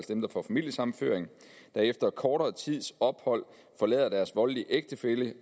dem der får familiesammenføring og efter kortere tids ophold forlader deres voldelige ægtefælle